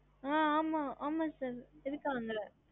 ஹம்